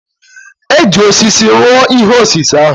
E ji osisi rụọ ihe osise ahụ.